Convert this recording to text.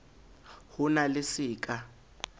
ho na le se ka